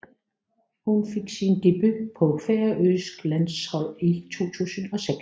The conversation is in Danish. Hun fik sin debut på det færøske landshold i 2006